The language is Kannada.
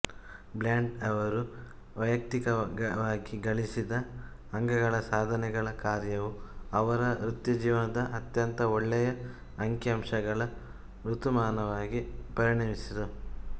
ಬ್ರ್ಯಾಂಟ್ ಅವರು ವ್ಯಯಕ್ತಿಕವಾಗಿ ಗಳಿಸಿದ ಅಂಕಗಳ ಸಾಧನೆಗಳ ಕಾರ್ಯವು ಅವರ ವೃತ್ತಿಜೀವನದ ಅತ್ಯಂತ ಒಳ್ಳೆಯ ಅಂಕಿಅಂಶಗಳ ಋತುಮಾನವಾಗಿ ಪರಿಣಮಿಸಿತು